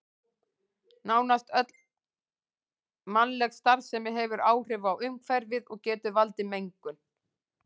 Nánast öll mannleg starfsemi hefur áhrif á umhverfið og getur valdið mengun.